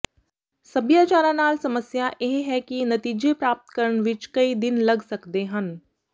ਸਭਿਆਚਾਰਾਂ ਨਾਲ ਸਮੱਸਿਆ ਇਹ ਹੈ ਕਿ ਨਤੀਜੇ ਪ੍ਰਾਪਤ ਕਰਨ ਵਿੱਚ ਕਈ ਦਿਨ ਲੱਗ ਸਕਦੇ ਹਨ